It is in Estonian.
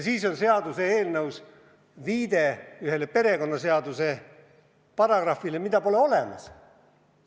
Veel on seaduse tekstis viide ühele perekonnaseaduse paragrahvile, mida pole olemas.